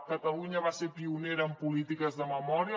catalunya va ser pionera en polítiques de memòria